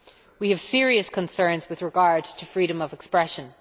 We have serious concerns with regard to freedom of expression.